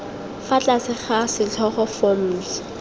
fa tlase ga setlhogo forms